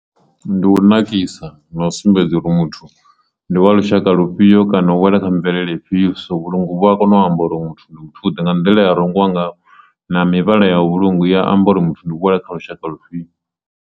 Ndi u nakisa na u sumbedza uri muthu ndi wa lushaka lufhio kana u wela kha mvelele ifhio so vhulungu vhu a kona u amba uri muthu ndi muthu u ḓe nga nḓila ya rengiwa ngaho na mivhala ya vhulunga ya amba uri muthu u wela kha lushaka lufhio.